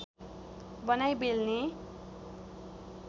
बनाई बेल्ने